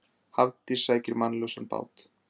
Hafdís sækir mannlausan bát